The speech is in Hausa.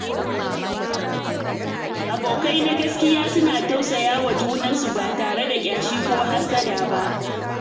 Abokai na gaskiya suna tausayawa junansu ba tare da ƙyashi ko hassada ba.